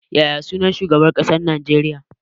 Yaya sunan shugaban ƙasar Najeriya?